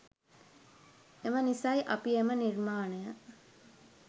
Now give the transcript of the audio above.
එම නිසයි අපි එම නිර්මාණය